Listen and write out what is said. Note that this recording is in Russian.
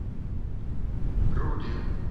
руди